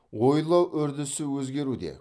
ойлау үрдісі өзгеруде